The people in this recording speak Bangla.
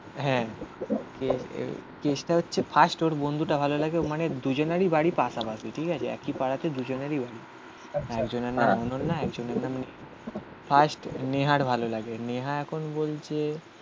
হ্যাঁ কেসটা হচ্ছে ফার্স্ট ওর বন্ধুটা ভালো লাগে. মানে দুজনেরই বাড়ি পাশাপাশি. ঠিক আছে. একই পাড়াতে দুজনেরই বাড়ি একজনের নাম অনন্যা একজনের নাম ফার্স্ট নেহার ভালো লাগে.